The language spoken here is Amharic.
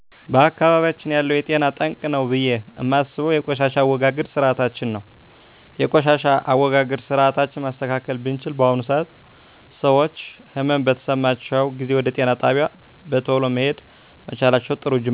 በአካባቢያችን ያለው ለጤና ጠንቅ ነው ብየ እማስበው የቆሻሻ አወጋገድ ስርአታችን ነው የቆሻሻ አወጋገድ ስርአታችን ማስተካከል ብችል በአሁኑ ሰአት ሰወች ህመም በተሰማቸው ጊዜ ወደ ጤና ጣቢያ በተሎ መሄድ መቻላቸው ጥሩ ጁማሮ ነው ከጤና ባለሙያ እሚሰጡ የአመጋገብስርአቶች ትኩረት እየተሰጣቸው አለመሆኑ